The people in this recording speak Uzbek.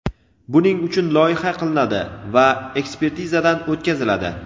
buning uchun loyiha qilinadi va ekspertizadan o‘tkaziladi.